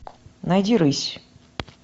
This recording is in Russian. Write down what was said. найди рысь